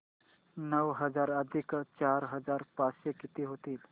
नऊ हजार अधिक चार हजार पाचशे किती होतील